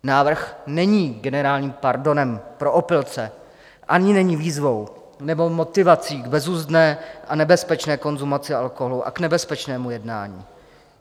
Návrh není generálním pardonem pro opilce ani není výzvou nebo motivací k bezuzdné a nebezpečné konzumaci alkoholu a k nebezpečnému jednání.